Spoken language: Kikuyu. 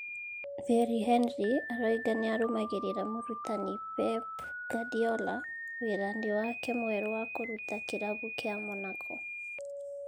Thierry Henry aroiga nĩ arũmagĩrĩra mũrutani Pep Guardiola wĩra-inĩ wake mwerũ wa kũruta kĩrabu kĩa Monaco.